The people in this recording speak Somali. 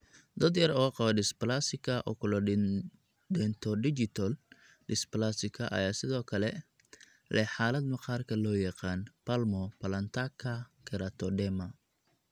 Dad yar oo qaba dysplasika oculodentodigital dysplasika ayaa sidoo kale leh xaalad maqaarka loo yaqaan palmoplantaka keratodema.